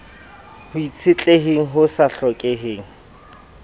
ho itshetleheng ho sa hlokeheng